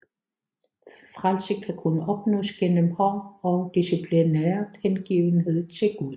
Frelse kan kun opnås gennem hård og disciplineret hengivenhed til Gud